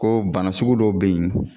Ko bana sugu dɔw bɛ yen.